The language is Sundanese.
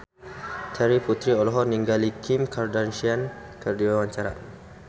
Terry Putri olohok ningali Kim Kardashian keur diwawancara